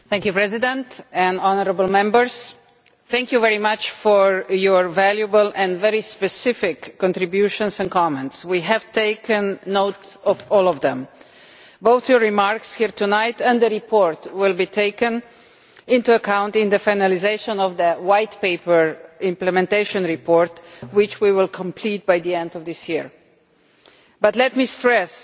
Mr President, I would like to thank honourable Members for their very valuable and very specific contributions and comments. We have taken note of all of them. Both your remarks here tonight and the report will be taken into account in the finalisation of the White Paper implementation report, which we will complete by the end of this year. But let me stress